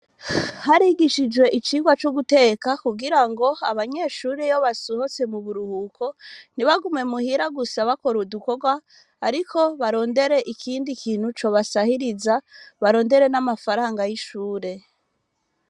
Harigishijwe icigwa co guteka, kugira ngo abanyeshure iyo basohotse mu buruhuko, ntibagume muhira gusa bakora udukorwa, ariko barondere ikindi kintu cobasahiriza, barondere n'amafaranga y'ishure.